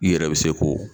I yɛrɛ bɛ se k'o